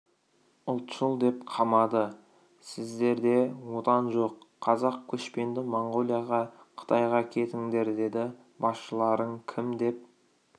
ұлтшыл деп қамады сіздерде отан жоқ қазақ көшпенді моңғолияға қытайға кетіңдер деді басшыларың кім деп